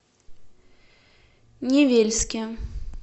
невельске